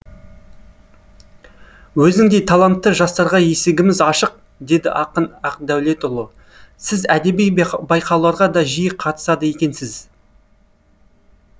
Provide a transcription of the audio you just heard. өзіңдей талантты жастарға есігіміз ашық деді ақын ақдәулетұлы сіз әдеби байқауларға да жиі қатысады екенсіз